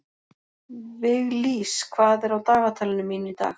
Viglís, hvað er á dagatalinu mínu í dag?